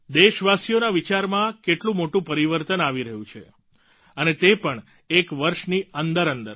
દેશવાસીઓના વિચારમાં કેટલું મોટું પરિવર્તન આવી રહ્યું છે અને તે પણ એક વર્ષની અંદરઅંદર